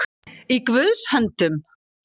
Í Guðs höndum